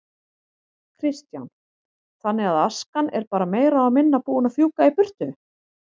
Kristján: Þannig askan er bara meira og minna búin að fjúka í burtu?